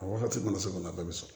A wagati mana se ka na a bɛɛ bɛ sɔrɔ